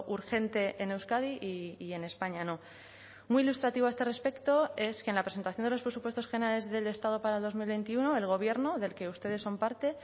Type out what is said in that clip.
urgente en euskadi y en españa no muy ilustrativo a este respecto es que en la presentación de los presupuestos generales del estado para dos mil veintiuno el gobierno del que ustedes son parte